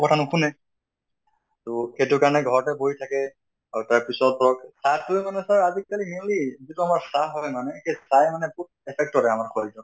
কথা নুশুনে, তʼ সেইটো কাৰণে ঘৰতে বহি থাকে আৰু তা পিছত ধৰক চাহ্তোই মানে sir আজি কালি mainly যিটো আমাৰ চাহ হয় মানে, চাহে মানে বহুত affect কৰে আমাৰ শৰীৰত।